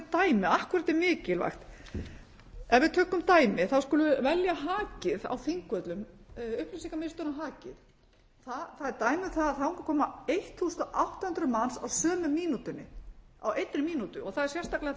dæmi af hverju þetta er mikilvægt ef við tökum dæmi þá skulum við velja hakið á þingvöllum upplýsingamiðstöðina hakið það er dæmi um það að þangað koma átján hundruð manns á sömu mínútunni á einni mínútu það er